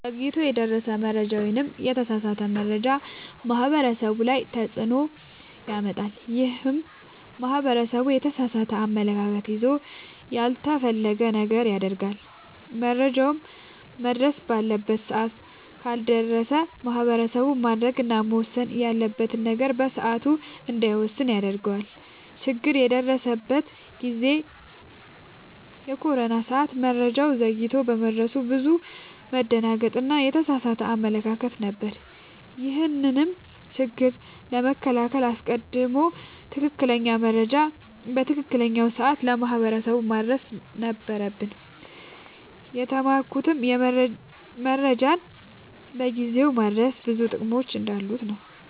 ዘግይቶ የደረሰ መረጃ ወይም የተሳሳተ መረጃ ማህበረሰቡ ላይ ትልቅ ተፅዕኖ ያመጣል። ይህም ማህበረሰቡ የተሳሳተ አመለካከት ይዞ ያልተፈለገ ነገር ያደርጋል። መረጃውም መድረስ ባለበት ሰዓት ካልደረሰ ማህበረሰቡ ማድረግ እና መወሰን ያለበትን ነገር በሰዓቱ እንዳይወስን ያደርገዋል። ችግር የደረሰበት ጊዜ የኮሮና ሰዓት መረጃው ዘግይቶ በመድረሱ ብዙ መደናገጥ እና የተሳሳተ አመለካከት ነበር። ይህንንም ችግር ለመከላከል አስቀድሞ ትክክለኛ መረጃ በትክክለኛው ሰዓት ለማህበረሰቡ ማድረስ ነበረብን። የተማርኩትም መረጃን በጊዜው ማድረስ ብዙ ጥቅሞች እንዳሉት ነወ።